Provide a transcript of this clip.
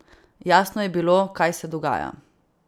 Jasno je bilo, kaj se dogaja.